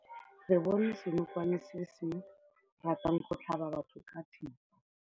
Re bone senokwane se se ratang go tlhaba batho ka thipa.